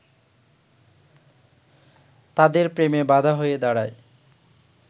তাদের প্রেমে বাধা হয়ে দাঁড়ায়